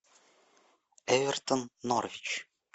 эвертон норвич